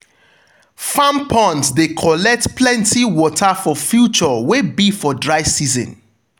farm ponds de collect plenty water for future wey be for dry season.